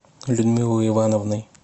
людмилой ивановной